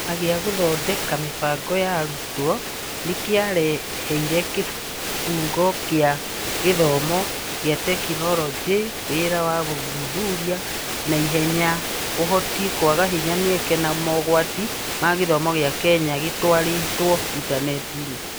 Kĩama gĩa Gũthondeka Mĩbango ya Arutwo nĩ kĩaheire Kĩbungo kĩa gĩthomo kĩa tekinoronjĩ wĩra wa gũthuthuria na ihenya Ũhoti, kwaga hinya, mĩeke, na mogwati ma gĩthomo gĩa Kenya gĩtwarĩtwo intaneti-inĩ